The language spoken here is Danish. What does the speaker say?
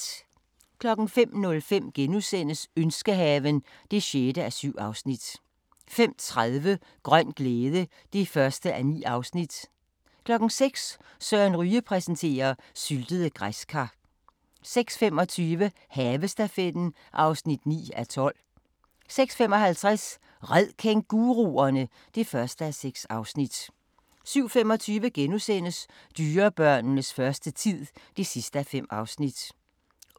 05:05: Ønskehaven (6:7)* 05:30: Grøn glæde (1:9) 06:00: Søren Ryge præsenterer: Syltede græskar 06:25: Havestafetten (9:12) 06:55: Red kænguruerne! (1:6) 07:25: Dyrebørnenes første tid (5:5)*